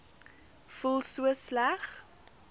voel so sleg